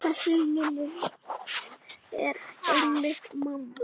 Þessi minning er einmitt mamma.